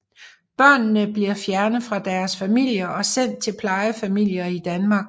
Børnene bliver fjernet fra deres familier og sendt til plejefamilier i Danmark